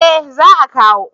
eh za a kawo